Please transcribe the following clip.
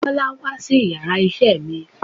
Bọ́lá wá sí yàrá isé mi